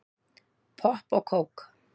Popp og kók